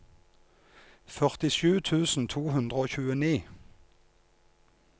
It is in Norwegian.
førtisju tusen to hundre og tjueni